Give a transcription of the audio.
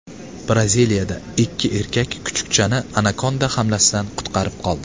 Braziliyada ikki erkak kuchukchani anakonda hamlasidan qutqarib qoldi .